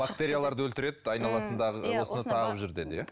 бактерияларды өлтіреді айналасындағы осыны тағып жүр деді иә